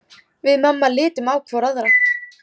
Við mamma litum hvor á aðra.